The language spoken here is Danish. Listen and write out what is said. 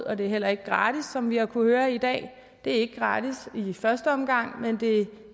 og det er heller ikke gratis som vi har kunnet høre i dag det er ikke gratis i første omgang men det